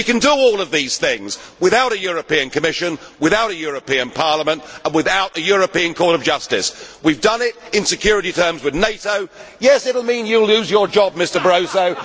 We can do all of these things without a European Commission, without a European Parliament and without a European Court of Justice. We have done it in security terms with NATO. Yes, it will mean you will lose your job, Mr Barroso.